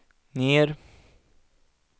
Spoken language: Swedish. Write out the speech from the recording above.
ner